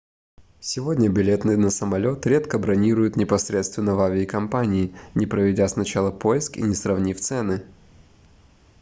сегодня билеты на самолет редко бронируют непосредственно в авиакомпании не проведя сначала поиск и не сравнив цены